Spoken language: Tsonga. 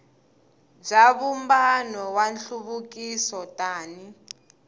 bya vumbano wa nhluvukiso tani